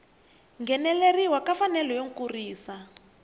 ngheneleriwa ka mfanelo yo kurisa